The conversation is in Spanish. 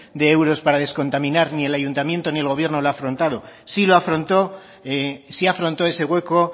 de euros para descontaminar ni el ayuntamiento ni el gobierno lo ha afrontado sí afrontó ese hueco